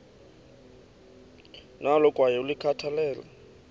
nalo kwaye ulikhathalele